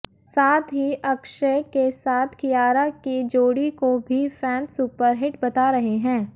साथ ही अक्षय के साथ कियारा की जोड़ी को भी फैंस सुपरहिट बता रहे हैं